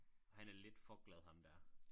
Han er lidt for glad ham der